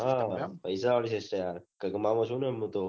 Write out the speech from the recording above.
હા પૈસા વાળી system છે